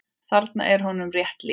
Þarna er honum rétt lýst.